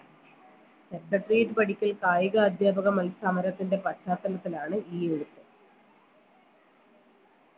secretoriate പടിക്കൽ കായിക അധ്യാപക മൽ സമരത്തിൻറെ പശ്ചാത്തലത്തിലാണ് ഈ unit